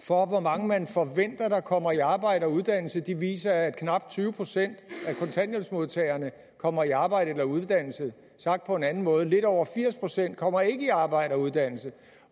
for hvor mange man forventer kommer i arbejde og uddannelse viser at knap tyve procent af kontanthjælpsmodtagerne kommer i arbejde eller uddannelse sagt på en anden måde lidt over firs procent kommer ikke i arbejde og uddannelse